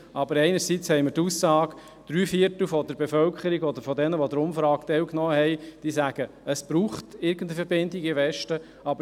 Einerseits haben wir die Aussage, dass drei Viertel der Bevölkerung, beziehungsweise derjenigen, die an der Umfrage teilgenommen haben, sagen, dass es irgendeine Verbindung in den Westen brauche.